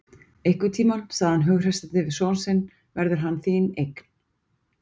Einhvern tímann, sagði hann hughreystandi við son sinn verður hann þín eign.